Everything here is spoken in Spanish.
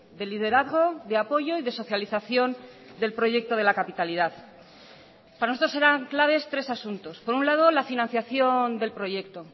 de liderazgo de apoyo y de socialización del proyecto de la capitalidad para nosotros eran claves tres asuntos por un lado la financiación del proyecto